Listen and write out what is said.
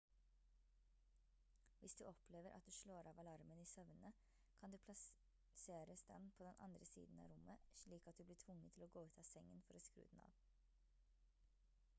hvis du opplever at du slår av alarmen i søvne kan du plasseres den på den andre siden av rommet slik at du blir tvunget til å gå ut av sengen for å skru den av